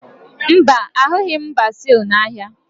Mba, ahụghị m bezil n'ahịa